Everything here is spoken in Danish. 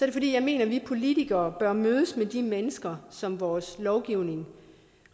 det fordi jeg mener at vi politikere bør mødes med de mennesker som vores lovgivning